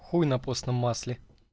хуй на постном масле